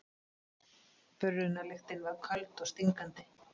Brunalyktin var köld og stingandi.